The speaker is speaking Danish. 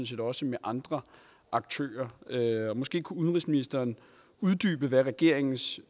set også med andre aktører måske kunne udenrigsministeren uddybe hvad regeringens